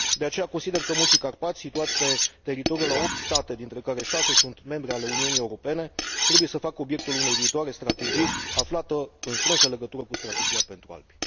De aceea consider că Munții Carpați, situați pe teritoriul a opt state, dintre care șase sunt membre ale Uniunii Europene, trebuie să facă obiectul unei viitoare strategii, aflată în strânsă legătură cu Strategia pentru Alpi.